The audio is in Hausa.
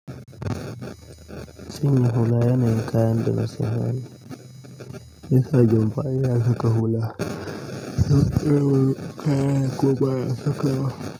Cinye hula yana yin kayan da na sanya ne. Yasa jumfa yana saka hula. Gaskiya ban kayan kuwa ba sakawa.